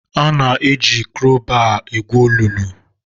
Ana-ejikarị kraụbaa egwu olulu.